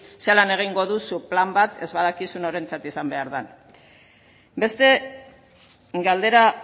zelan egingo duzu plan bat ez badakizu norentzat egin behar den beste galdera